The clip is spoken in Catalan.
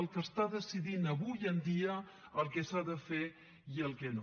el que està decidint avui en dia el que s’ha de fer i el que no